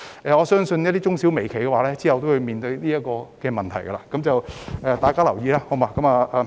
我相信中小微企日後將會面對這個問題，請大家留意。